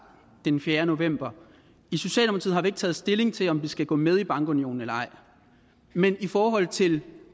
den fjerde november i ikke taget stilling til om vi skal gå med i bankunionen eller ej men i forhold til